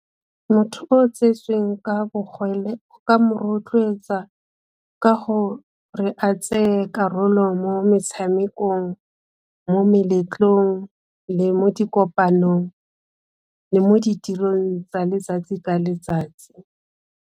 Motho o tsetsweng ka bogole o ka mo rotloetsa ka go re a tseye karolo mo metshamekong, mo meletlong, le mo di kopanong le mo ditirong tsa letsatsi ka letsatsi.